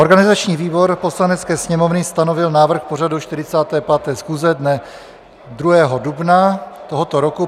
Organizační výbor Poslanecké sněmovny stanovil návrh pořadu 45. schůze dne 2. dubna tohoto roku.